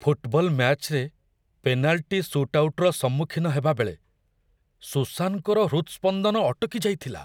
football ମ‍୍ୟାଚ୍‌ରେ penalty ସୁଟ୍ଆଉଟର ସମ୍ମୁଖୀନ ହେବା ବେଳେ ସୁସାନଙ୍କର ହୃତ୍ସ୍ପନ୍ଦନ ଅଟକି ଯାଇଥିଲା